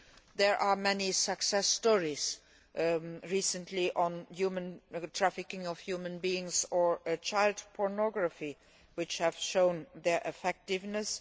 There have been many success stories recently regarding the trafficking of human beings and child pornography, which have shown their effectiveness.